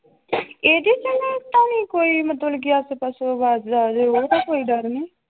ਤਾਂ ਨੀ ਕੋਈ ਮਤਲਬ ਕਿ ਆਸੇ ਪਾਸੋਂ ਆਵਾਜ਼ਾਂ ਆ ਰਹੀਆਂ ਉਹ ਤਾਂ ਕੋਈ ਡਰ ਨੀ।